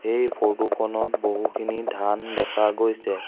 এই ফটো খনত বহুখিনি ধান দেখা গৈছে।